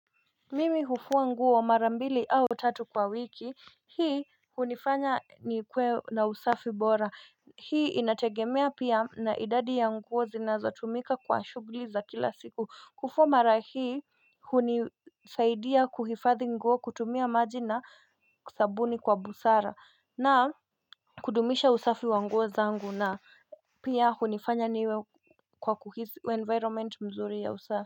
Mimi hufua nguo mara mbili au tatu kwa wiki, hii hunifanya nikuwe na usafi bora hii inategemea pia na idadi ya nguo zinazotumika kwa shughuli za kila siku. Kufua mara hii hunisaidia kuhifadhi nguo, kutumia maji na sabuni kwa busara na kudumisha usafi wa nguo zangu na pia hunifanya niwe kwa kuhisi environment mzuri ya usafi.